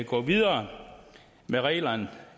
gå videre med reglerne